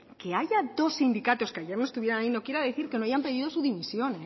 que haya dos sindicatos que ayer no estuviera allí no quiere decir que no hayan pedido su dimisión